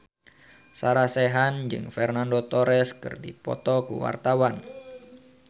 Sarah Sechan jeung Fernando Torres keur dipoto ku wartawan